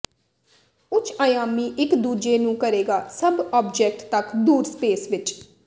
ਉੱਚ ਅਯਾਮੀ ਇੱਕ ਦੂਜੇ ਨੂੰ ਕਰੇਗਾ ਸਭ ਆਬਜੈਕਟ ਤੱਕ ਦੂਰ ਸਪੇਸ ਵਿੱਚ